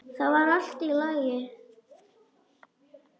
Það var allt í lagi.